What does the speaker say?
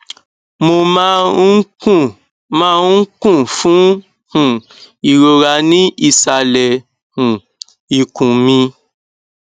mo máa ń kún máa ń kún fún um ìrora ní ìsàlẹ um ikùn mi